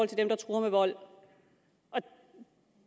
til dem der truer med vold